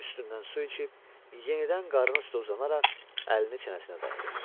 Üstündən su içib yenidən qarnı üstə uzanaraq əlini çənəsinə dayadı.